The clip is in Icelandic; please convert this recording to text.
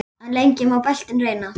En lengi má beltin reyna.